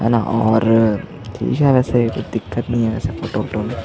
है न और ठीक है वैसे कुछ दिक्कत नहीं है फोटो - वोटो में --